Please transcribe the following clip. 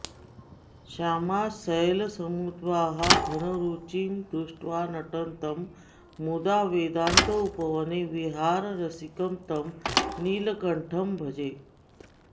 श्यामां शैलसमुद्भवां घनरुचिं दृष्ट्वा नटन्तं मुदा वेदान्तोपवने विहाररसिकं तं नीलकण्ठं भजे